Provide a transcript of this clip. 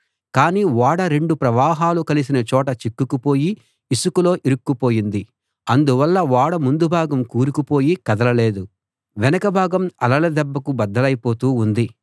కానీ ఓడ రెండు ప్రవాహాలు కలిసిన చోట చిక్కుకుపోయి ఇసుకలో ఇరుక్కుపోయింది అందువల్ల ఓడ ముందు భాగం కూరుకుపోయి కదలలేదు వెనక భాగం అలల దెబ్బకు బద్దలైపోతూ ఉంది